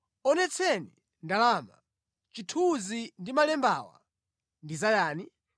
“Onetseni ndalama. Chithunzi ndi malembawa ndi zayani?”